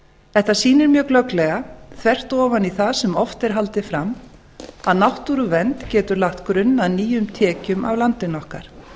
þetta sýnir mjög glögglega þvert ofan í það sem oft er haldið fram að náttúruvernd getur lagt grunn að nýjum tekjum af landinu okkar